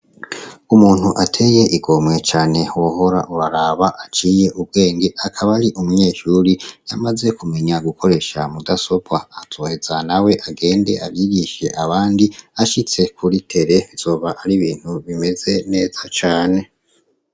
Umuntu ateye igomwe cane wohora uraraba, aciye ubwenge. Akaba ari umuneshure amaze kumenya gukoresha mudasobwa, azoheza nawe agende abigishe abandi, ashitse kuri tere azoba ari ibintu bimeze neza cane.